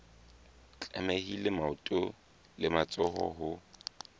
tlamehile maoto le matsoho ho